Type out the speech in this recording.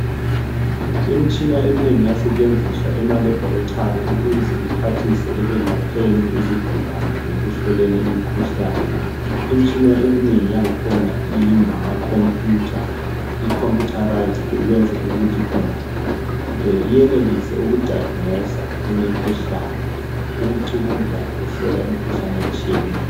Imitshina eminengi iyasetshenziswa emalabhoritari ukuze kuphathise ekwelapheni izigulane lekuhloleni imikhuhlane. Imitshina eminengi yang'khona ingamakhomputha, i computerised ukwenzela ukuthi khona iyenelise ukudayiginosa imikhuhlane, ukucubungula lokhuhlola imikhuhlane etshiyeneyo.